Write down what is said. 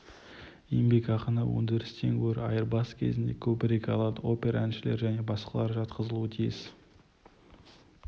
еңбекақыны өндірістен гөрі айырбас кезінде көбірек алады опера әншілері және басқалар жатқызылуы тиіс